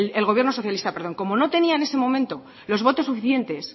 el gobierno socialista perdón como no tenía en ese momento los votos suficientes